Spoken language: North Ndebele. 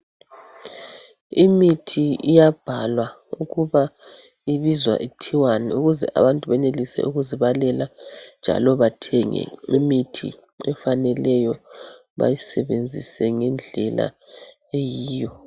Imithi iyabhalwa ukuba ibizwa ithiwani ukuze abantu benelise ukuzibalela njalo bathenge imithi efaneleyo bayisebenzise ngendlela eyiyo.